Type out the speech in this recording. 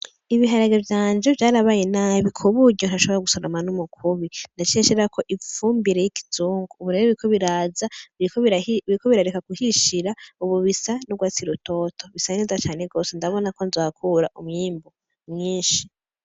Ibiharage vyanje vyarabaye nabi kuburyo ntashobora gusoroma n’umukubi naciye nshirako ifumbire y’ikizungu ubu rero biriko biraza biriko birareka guhishira ubu bisa n’ugwatsi rutoto, bisa neza cane gwose ndabonako nzohakura umwimbu mwinshi.